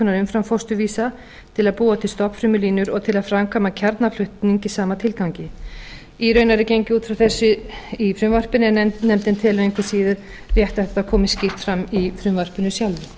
umframfósturvísa til að búa til stofnfrumulínur og til að framkvæma kjarnaflutning í sama tilgangi er raunar út frá þessu gengið í frumvarpinu en nefndin telur engu síður rétt að þetta komi skýrt fram í frumvarpinu sjálfu það